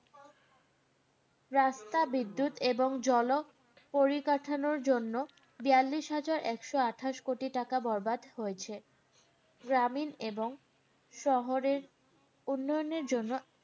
রাস্তা, বিদ্যুৎ, এবং জল পরিকাঠামোর জন্য বিয়াল্লিশ হাজার একশো আঠাশ কোটি টাকা বরাদ্দ হয়েছে। গ্রামীণ এবং শহরের উন্নয়নের জন্য